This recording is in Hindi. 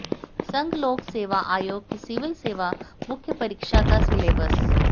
संघ लोक सेवा आयोग की सिविल सेवा मुख्य परीक्षा का सिलेबस